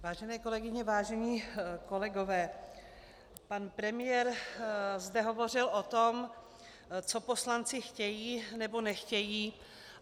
Vážené kolegyně, vážení kolegové, pan premiér zde hovořil o tom, co poslanci chtějí, nebo nechtějí.